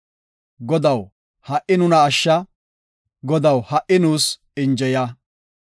Godaw, ha77i nuna ashsha; Godaw, ha77i nuus injeya.